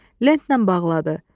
Lentlə bağladı.